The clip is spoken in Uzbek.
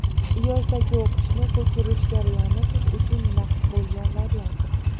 Yozdagi o‘qishni ko‘chirish jarayoni siz uchun naqd bo‘lgan variant.